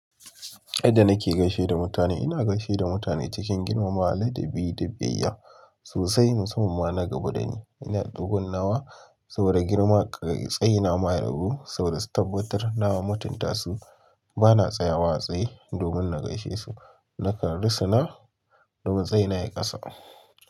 Yanda na ke gaishe da mutane a cikin, ina gaishen da mutane cikin girmamawa, hali da biyaya, sosai. Musamman ma na gabo da ni, ina gabon nawa saboda girma kai tsai na ma ya rabu saboda su tabbatar na mutunta su ba na tsayawa a tsaye domin na gaishe su, na kan rusuna domin tsai na ya yi kasa.